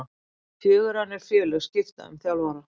Fjögur önnur félög skipta um þjálfara